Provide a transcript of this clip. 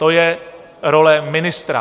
To je role ministra.